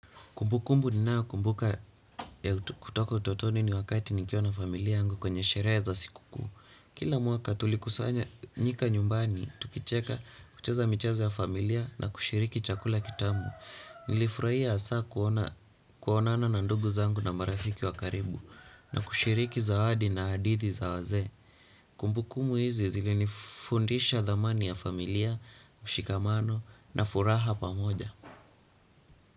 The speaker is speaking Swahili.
Kumbukumbu ninayokumbuka ya kutoka utotoni ni wakati nikiwa na familia yangu kwenye sherehe za sikukuu. Kila mwaka tulikusanyika nyumbani, tukicheka, kucheza michezo ya familia na kushiriki chakula kitamu. Nilifurahia hasa kuonana na ndugu zangu na marafiki wa karibu na kushiriki zawadi na hadithi za wazee. Kumbukumbu hizi zilinifundisha thamani ya familia, mshikamano na furaha pamoja.